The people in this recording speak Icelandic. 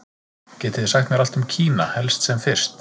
Getið þið sagt mér allt um Kína, helst sem fyrst?